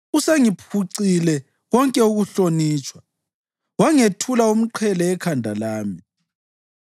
Usengiphucile konke ukuhlonitshwa wangethula umqhele ekhanda lami.